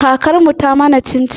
Kakar mu ta mana cin-cin.